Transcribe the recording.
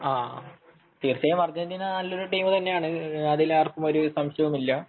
തീർച്ചയായും അർജന്റീന നല്ലൊരു ടീമു തന്നെയാണ് അതിൽ ആർക്കും സംശയമൊന്നും ഇല്ല